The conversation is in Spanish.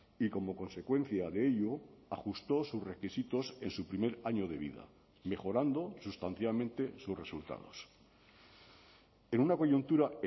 y como consecuencia de ello ajustó sus requisitos en su primer año de vida mejorando sustancialmente sus resultados en una coyuntura